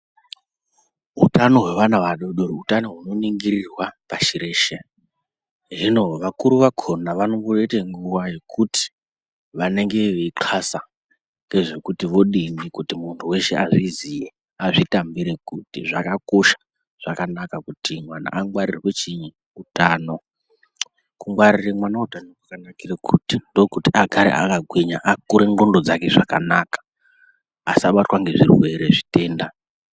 Hutano hwevana vadodori hutano hunoningirirwa pashi reshe, hino vakuru vakona vanomboite nguwa yekuti vanenge veinxasa ngezvekuti kuti vodini kuti muntu weshe azviziye , azvitambire kuti zvakakosha zvakanaka kuti mwana angwarirwe chiini utano. Kungwarire mwana utano kwakanakire kuti ndokuti agare akagwinya akure ndxondo dzake zvakanaka asabatwa ngezvirwere zvitenda.